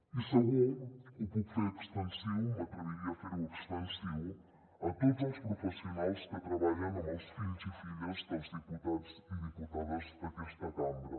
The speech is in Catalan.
i segur que ho puc fer extensiu m’atreviria a fer ho extensiu a tots els professionals que treballen amb els fills i filles dels diputats i diputades d’aquesta cambra